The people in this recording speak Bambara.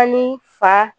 Ani fa